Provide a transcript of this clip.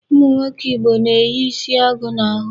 Ụmụnwoke Igbo na-eyi isi agụ n'ahụ.